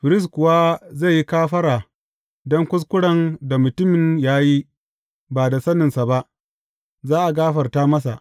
Firist kuwa zai yi kafara don kuskuren da mutumin ya yi ba da saninsa ba, za a gafarta masa.